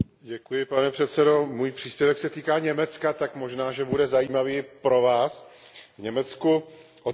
Pane předsedající, můj příspěvek se týká Německa, tak možná, že bude zajímavý i pro Vás. V Německu od